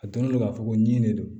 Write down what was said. A donnen don k'a fɔ ko nin de don